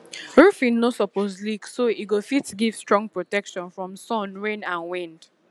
roofing no suppose leak so e go fit give strong protection from sun rain and wind